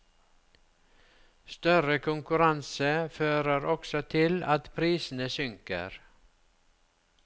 Større konkurranse fører også til at prisene synker.